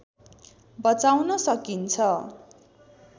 बचाउन सकिन्छ